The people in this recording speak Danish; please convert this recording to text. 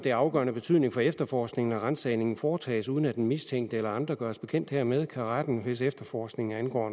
af afgørende betydning for efterforskningen at ransagningen foretages uden at den mistænkte eller andre gøres bekendt hermed kan retten hvis efterforskningen angår